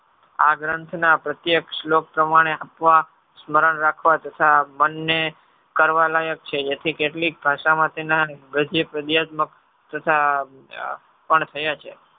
આ ગ્રંથના પ્રત્યેક્ષ લોક પ્રમાણે આપવા સ્મરણ રાખવા તથા મનને કરવા લાયક છે. યથી કેટલીક ભાષામાં તેના ગદ્ય પર્દ્યાત્મક તથા પણ થયા છે.